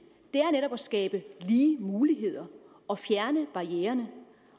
netop er at skabe lige muligheder og fjerne barriererne